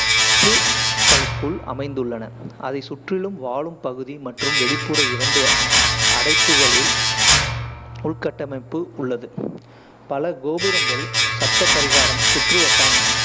களுக்குள் அமைந்துள்ளன, அதைச் சுற்றிலும் வாழும் பகுதி மற்றும் வெளிப்புற இரண்டு அடைப்புகளில் உள்கட்டமைப்பு உள்ளது. பல கோபுரங்கள் சப்த பரிகாரம் சுற்றுவட்டங்~